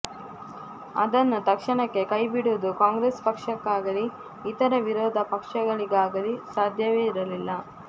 ಅದನ್ನು ತಕ್ಷಣಕ್ಕೆ ಕೈಬಿಡುವುದು ಕಾಂಗ್ರೆಸ್ ಪಕ್ಷಕ್ಕಾಗಲೀ ಇತರ ವಿರೋಧ ಪಕ್ಷಗಳಿಗಾಗಲೀ ಸಾಧ್ಯವಿರಲಿಲ್ಲ